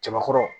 Cɛbakɔrɔ